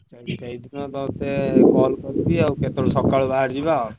ଆଉ ସେଇଥିପାଇଁ ତତେ call କରିବି ଆଉ କେତେବେଳେ ସକାଳୁ ବାହାରିଯିବା।